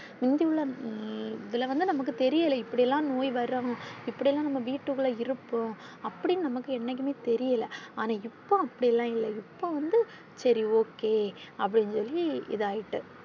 Into உள்ள உம் இதுல வந்து நமக்கு தெரில இப்பிடி எல்லாம் நோய் வரும் இப்பிடி எல்லாம் நாம வீட்டுக்குள்ள இருப்போம் அப்படீனு என்னைக்குமே நமக்கு தெரில ஆனா இப்ப அப்பிடி எல்லாம் இல்ல இப்ப வந்து சரி okay அப்பிடினு சொல்லி இதாயிட்டு.